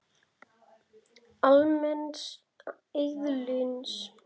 almenns eðlis.